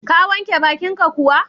Ka wanke baƙinka kuwa?